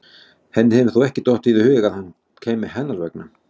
Henni hefur þó ekki dottið í hug að hann kæmi hennar vegna?